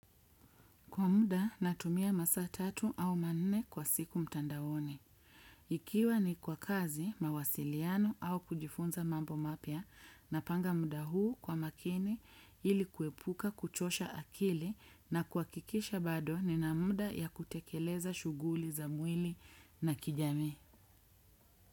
Kwa muda, natumia masaa tatu au manne kwa siku mtandaoni. Ikiwa ni kwa kazi, mawasiliano au kujifunza mambo mapya, napanga muda huu kwa makini ili kuepuka kuchosha akili na kuhakikisha bado ni na muda ya kutekeleza shughuli za mwili na kijamii.